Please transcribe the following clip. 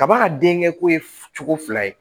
Kaba ka denkɛ ko ye cogo fila ye